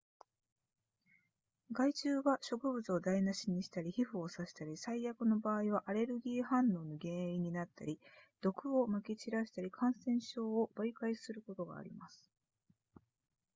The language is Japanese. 害虫は食物を台無しにしたり皮膚を刺したり最悪の場合はアレルギー反応の原因になったり毒を撒き散らしたり感染症を媒介することがあります